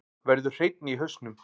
Verður hreinni í hausnum.